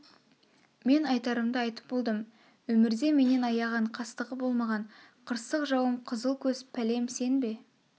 мен айтарымды айтып болдым өмірде менен аяған қастығы болмаған қырсық жауым қызыл көз пәлем сен бе